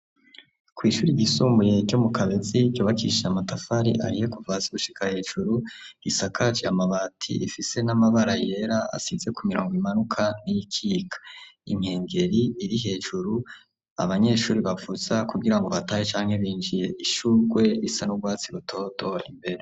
Kw'ishure ryisumbuye ryo mu kabezi ryubakishijwe ahiye kuva hasi gushika hejuru isakaje amabati ifise n'amabara yera asize ku mirongo imanuka n'iyikika, inkengeri iri hejuru abanyeshure bavuza kugira batahe canke binjire, ishurwe risa n'urwatsi rutoto imbere.